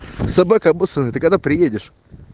собака обоссаная ты когда приедешь